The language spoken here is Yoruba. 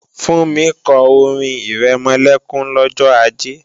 Fúnmi kọ orin-ìrẹmọlẹ́kún lọ́jọ́ Ajé